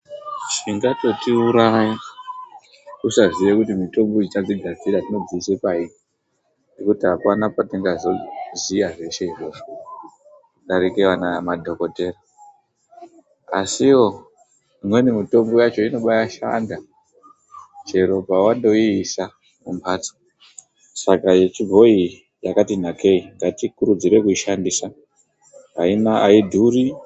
Zvichatotiuraya kusaziye kuti mitombo iyi tadzigadzira todziisa payini ngekuti apana kwatingaziva zveshe izvozvo kudarika madhokoteya. Asiwo imweni mitombo inobaashanda chero pawandoiisa kumbatso saka yechibhoi iyi yakati nakei ngatikurudzire kushandisa aidhuri.